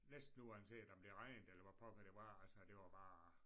Næsten uanset om det regnede eller hvad pokker det var altså det var bare